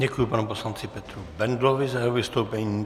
Děkuji panu poslanci Petru Bendlovi za jeho vystoupení.